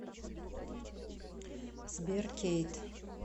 сбер кейт